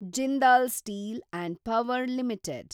Jindal steel and power limited